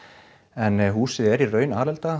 en húsið er í raun